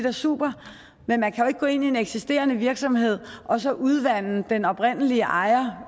og super men man kan jo ikke gå ind i en eksisterende virksomhed og så udvande den oprindelige ejer